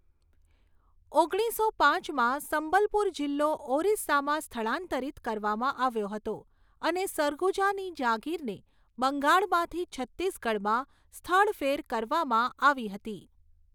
ઓગણીસો પાંચમાં, સંબલપુર જિલ્લો ઓરિસ્સામાં સ્થળાંતરિત કરવામાં આવ્યો હતો અને સરગુજાની જાગીરને બંગાળમાંથી છત્તીસગઢમાં સ્થળફેર કરવામાં આવી હતી.